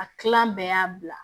A kilan bɛɛ y'a bila